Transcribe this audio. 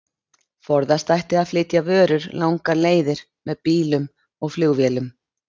Forðast ætti að flytja vörur langar leiðir með bílum og flugvélum.